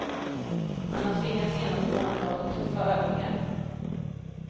Han har tvingats genomgå en rad tuffa övningar.